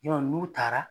n'u taara